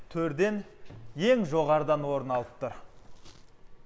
төрден ең жоғарыдан орын алып тұр